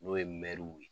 N'o ye ye